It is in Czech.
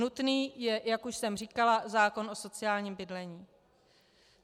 Nutný je, jak už jsem říkala, zákon o sociálním bydlení.